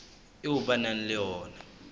eo ba nang le yona